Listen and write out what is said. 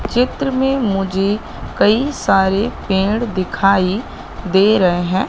चित्र में मुझे कई सारे पेड़ दिखाई दे रहे हैं।